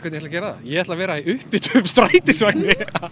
ég ætla að gera það ég ætla að vera í upphituðum strætisvagni